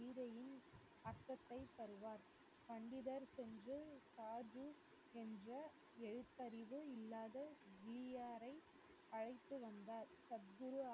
கீதையின் அர்த்தத்தை தருவார் பண்டிதர் சென்று சார்ஜு என்ற எழுத்தறிவு இல்லாத ஜீயாரை அழைத்துவந்தார் சத்குரு